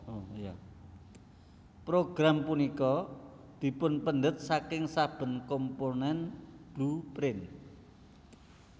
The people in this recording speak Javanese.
Progrm punika dipunpendhet saking saben komponen blueprint